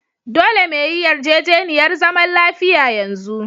Dolle me yi yarjejeniyar zaman lafiya yanzu!